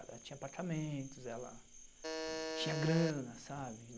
Ela tinha apartamentos, ela tinha grana, sabe?